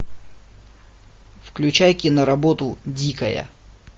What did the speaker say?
включай киноработу дикая